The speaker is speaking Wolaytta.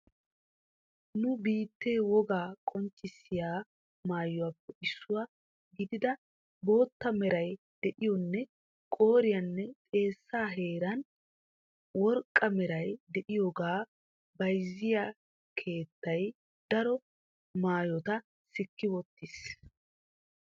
Nu biittee wogaa qonccissiya mayuwappe issuwaa gidida bootta meray de'iyonne qooriyanne xeessa heeran worqqa meray de'iyoogaa bayzziyaa keettay daro maayota sikki wottiis.